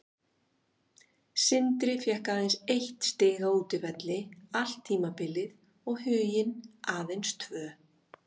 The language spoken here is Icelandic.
Sindri fékk aðeins eitt stig á útivelli allt tímabilið og Huginn aðeins tvö.